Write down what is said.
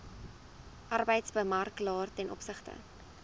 arbeidsmakelaar ten opsigte